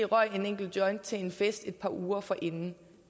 røg en enkelt joint til en fest et par uger forinden